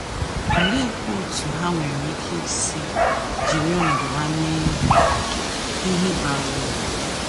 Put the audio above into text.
Oleekwa otú ha nwere ike isi jiri ọnọdụ ha mee ihe bara uru?